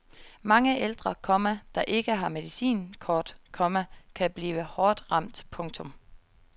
Mange ældre, komma der ikke har medicinkort, komma kan blive hårdt ramt. punktum